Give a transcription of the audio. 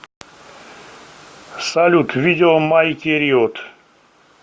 салют видео майки риот